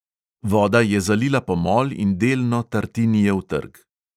Voda je zalila pomol in delno tartinijev trg.